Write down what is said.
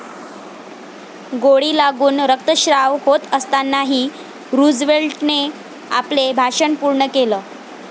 गोळी लागून रक्तश्राव होत असतानाही रूझवेल्टने आपले भाषण पूर्ण केलं.